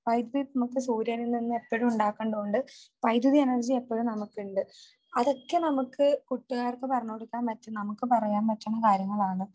.വൈദ്യുതി നമുക്ക് സൂര്യനിൽ നിന്നും ഏപ്പോഴും നമുക്ക് ഉണ്ടാക്കേണ്ടൊണ്ട് വൈദ്യുതി എനർജി എപ്പോഴും നമുക്കുണ്ട്. അതൊക്കെ നമുക്ക് കുട്ടികൾക്ക് പറഞ്ഞു കൊടുക്കാൻ പറ്റും. നമുക്ക് പറയാൻ പറ്റുന്ന കാര്യങ്ങളാണ്.